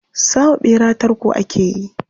Sa wa ɓera tarko ake yi.